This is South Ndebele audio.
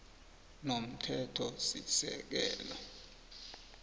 nomthethosisekelo s